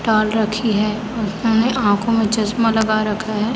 डाल रखी है आँखो मे चश्मा लगा रखा है।